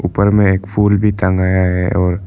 ऊपर में एक फूल भी टंगया है और--